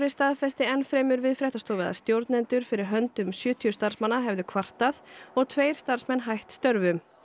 staðfesti enn fremur við fréttastofu að stjórnendur fyrir hönd um sjötíu starfsmanna hefðu kvartað og tveir starfsmenn hætt störfum